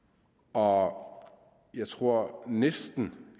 og jeg tror at næsten